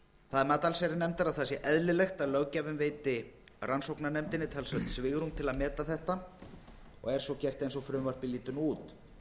er mat allsherjarnefndar að það sé eðlilegt er að löggjafinn veiti rannsóknarnefndinni talsvert svigrúm til að meta þetta og er svo gert eins og frumvarpið lítur nú út